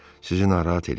Sizi narahat eləyirəm.